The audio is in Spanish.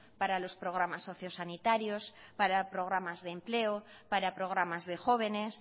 para los programas socio sanitarios para programas de empleo para programas de jóvenes